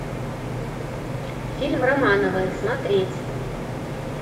фильм романовы смотреть